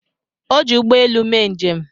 O ji ụgbọ elu mee njem.